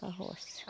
Para a roça.